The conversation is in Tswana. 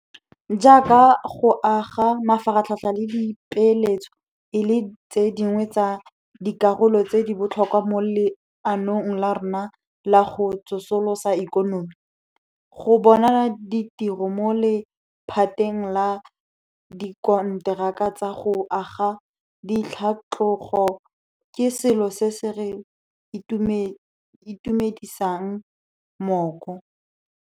Jaaka go aga mafaratlhatlha le dipeeletso e le tse dingwe tsa dikarolo tse di botlhokwa mo leanong la rona la go tsosolosa ikonomi, go bona ditiro mo lephateng la dikonteraka tsa go aga di tlhatlogo ke selo se se re tiisang mooko.